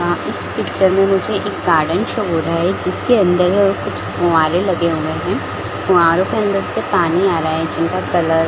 अ इस पिक्चर में मुझे एक गार्डन शो हो रहा है जिसके अंदर कुछ फुहवारे लगे हुए है फुहवारे के अंदर से पानी आ रहा है जिसका कलर --